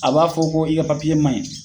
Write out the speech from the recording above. A b'a fɔ ko i ka man ɲi.